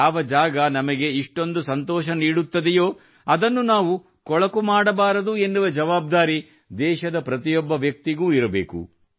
ಯಾವ ಜಾಗ ನಮಗೆ ಇಷ್ಟೊಂದು ಸಂತೋಷ ನೀಡುತ್ತದೆಯೋ ಅದನ್ನು ನಾವು ಕೊಳಕು ಮಾಡಬಾರದು ಎನ್ನುವ ಜವಾಬ್ದಾರಿ ದೇಶದ ಪ್ರತಿಯೊಬ್ಬ ವ್ಯಕ್ತಿಗೂ ಇರಬೇಕು